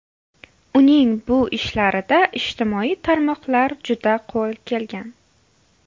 Uning bu ishlarida ijtimoiy tarmoqlar juda qo‘l kelgan.